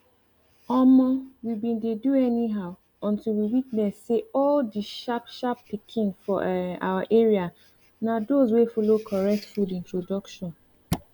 omo we bin dey do anyhow until we witness say all the sharpsharp pikin for um our area na those wey follow correct food introduction